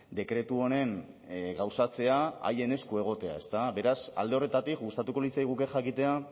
dekretu honen gauzatzea haien esku egotea beraz alde horretatik gustatuko litzaiguke jakitea